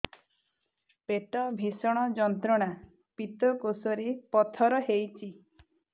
ପେଟ ଭୀଷଣ ଯନ୍ତ୍ରଣା ପିତକୋଷ ରେ ପଥର ହେଇଚି